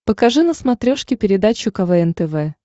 покажи на смотрешке передачу квн тв